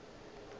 ge e le gore ba